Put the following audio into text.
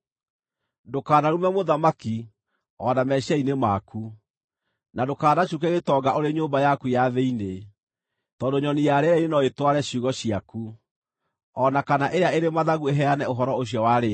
Ndũkanarume mũthamaki, o na meciiria-inĩ maku, na ndũkanacuuke gĩtonga ũrĩ nyũmba yaku ya thĩinĩ, tondũ nyoni ya rĩera-inĩ no ĩtware ciugo ciaku, o na kana ĩrĩa ĩrĩ mathagu ĩheane ũhoro ũcio warĩtie.